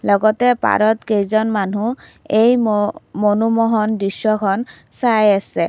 লগতে পাৰত কেইজনমান মানুহ এই ম মনোমহন দৃশ্যখন চাই আছে।